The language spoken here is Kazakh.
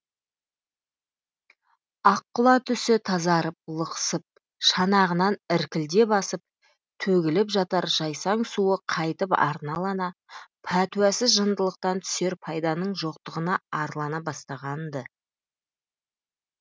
аққұла түсі тазарып лықсып шанағынан іркілдеп асып төгіліп жатар жайсаң суы қайтып арналана пәтуасыз жындылықтан түсер пайданың жоқтығына арлана бастаған ды